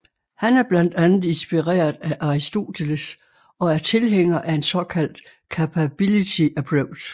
Han er blandt andet inspireret af Aristoteles og er tilhænger af en såkaldt capability approach